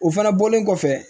O fana bɔlen kɔfɛ